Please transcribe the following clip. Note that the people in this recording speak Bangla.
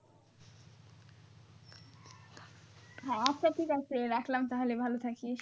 হ্যাঁ আচ্ছা ঠিক আছে রাখলাম তাহলে ভালো থাকিস।